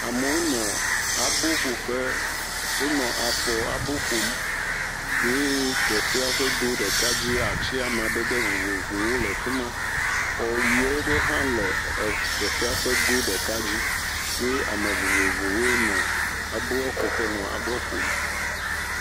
Amewo nɔ aboƒo ƒe wonɔ afɔ abo ƒom eye teƒea ƒe go ɖeka dzi ati amadede vovovowo le afi ma, xɔ nyuie aɖe hã le xɔa ƒe go ɖeka dzi hye ame vovovowoe nɔ abɔ ƒo ƒea nɔ abo ƒom.